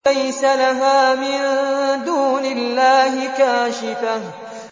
لَيْسَ لَهَا مِن دُونِ اللَّهِ كَاشِفَةٌ